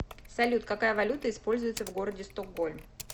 салют какая валюта используется в городе стокгольм